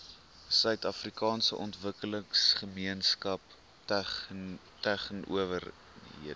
suidafrikaanse ontwikkelingsgemeenskap tegnonywerhede